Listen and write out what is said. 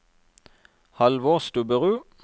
Halvor Stubberud